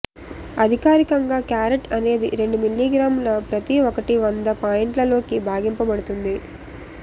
అధికారికంగా క్యారెట్ అనేది రెండు మిల్లీగ్రాముల ప్రతి ఒకటి వంద పాయింట్లు లోకి భాగింపబడుతుంది